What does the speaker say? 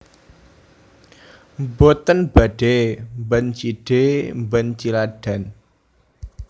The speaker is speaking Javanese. Mboten badhe mban cindhe mban ciladan